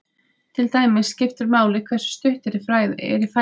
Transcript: Til dæmis skiptir máli hversu stutt er í fæðuna.